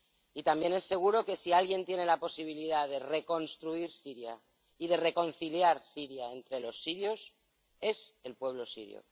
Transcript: Y también es seguro que si alguien tiene la posibilidad de reconstruir Siria y de reconciliar Siria entre los sirios es el pueblo sirio.